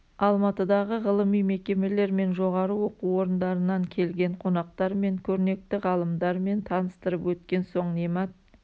алматыдағы ғылыми мекемелер мен жоғары оқу орындарынан келген қонақтармен көрнекті ғалымдармен таныстырып өткен соң немат